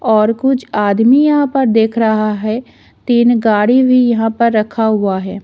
और कुछ आदमी यहां पर देख रहा है तीन गाड़ी भी यहां पर रखा हुआ है।